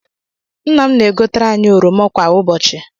Nna m na egotere anyị oroma kwa ụbọchị.